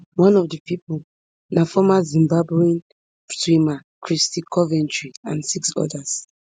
one of di pipo na former zimbabwean swimmer kristy coventry and six odas